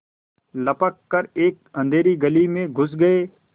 लपक कर एक अँधेरी गली में घुस गये